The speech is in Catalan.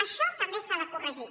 això també s’ha de corregir